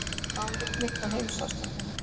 ÁLIT MITT Á HEIMSÁSTANDINU